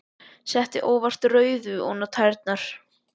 Sletti óvart rauðu ofan á tærnar.